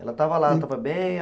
Ela estava lá, estava bem?